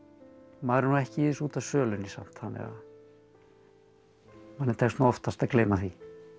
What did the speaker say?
maður er nú ekki í þessu út af sölunni samt þannig að manni tekst nú oftast að gleyma því